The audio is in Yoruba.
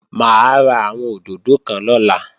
Mà á ra àwọn òdòdó kan lọ́la